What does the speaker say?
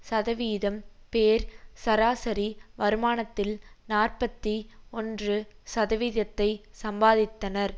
சதவீதம் பேர் சராசரி வருமானத்தில் நாற்பத்தி ஒன்று சதவீதத்தை சம்பாதித்தனர்